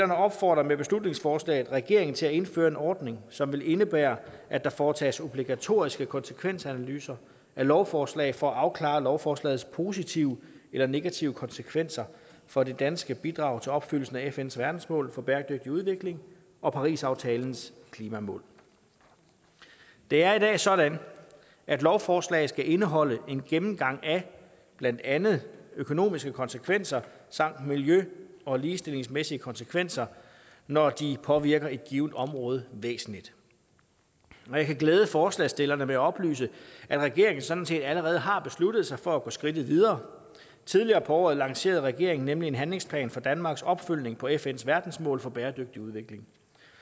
opfordrer med beslutningsforslaget regeringen til at indføre en ordning som vil indebære at der foretages obligatoriske konsekvensanalyser af lovforslag for at afklare lovforslagets positive eller negative konsekvenser for det danske bidrag til opfyldelsen af fns verdensmål for bæredygtig udvikling og parisaftalens klimamål det er i dag sådan at lovforslag skal indeholde en gennemgang af blandt andet økonomiske konsekvenser samt miljø og ligestillingsmæssige konsekvenser når de påvirker et givent område væsentligt og jeg kan glæde forslagsstillerne med at oplyse at regeringen sådan set allerede har besluttet sig for at gå skridtet videre tidligere på året lancerede regeringen nemlig en handlingsplan for danmarks opfølgning på fns verdensmål for bæredygtig udvikling